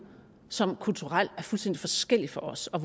som kulturelt er fuldstændig forskellige fra os og